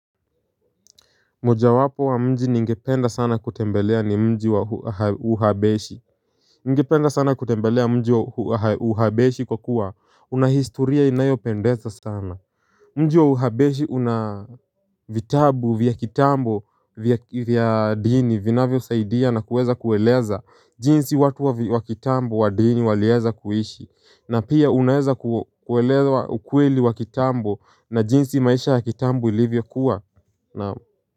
Mojawapo wa mji ningependa sana kutembelea ni mji wa uhabeshi. Ningependa sana kutembelea mji wa uhabeshi kwa kuwa una historia inayopendeza sana. Mji wa uhabeshi una vitabu vya kitambo vya dini vinavyosaidia na kuweza kueleza jinsi watu wa kitambo wa dini walieza kuishi na pia unaeza kuelewa ukweli wa kitambo na jinsi maisha ya kitambo ilivyokuwa naam.